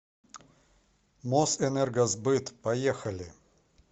мосэнергосбыт поехали